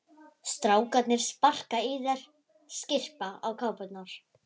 Strákarnir sparka í þær, skyrpa á kápurnar.